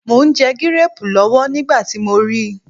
Mò ń jẹ gíréẹ̀pù lọ́wọ́ nígbà tí mo ri